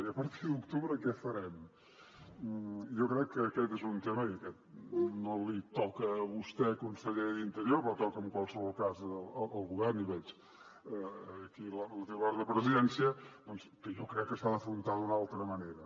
i a partir d’octubre què farem jo crec que aquest és un tema que no li toca a vostè conseller d’interior però toca en qualsevol cas al govern i aquí veig la titular de presidència doncs que jo crec que s’ha d’afrontar d’una altra manera